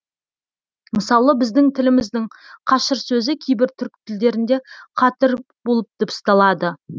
мысалы біздің тіліміздің қашыр сөзі кейбір түрік тілдерінде қатыр болып дыбысталады